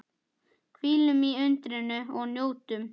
Hvílum í undrinu og njótum.